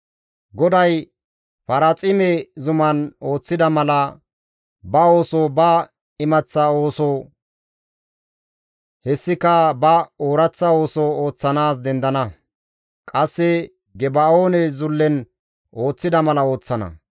GODAY Paraaxime zuman ooththida mala, ba ooso, ba imaththa ooso, hessika ba ooraththa ooso ooththanaas dendana. Qasse Geba7oone zullen ooththida malakka ooththana.